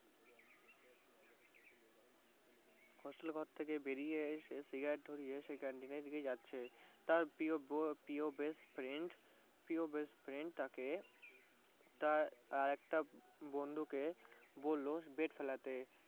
hostel এর ঘর থেকে বেরিয়ে এসে cigarette ধরিয়ে সে canteen এর দিকে যাচ্ছে। তার প্রিয় বে~ best friend প্রিয় best friend তাকে তার আরেকটা বন্ধু কে বললো ফেলতে।